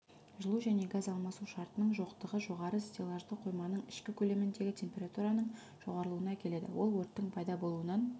жылу және газ алмасу шартының жоқтығы жоғары стеллажды қойманың ішкі көлеміндегі температураның жоғарылуына әкеледі ол өрттің пайда болуынан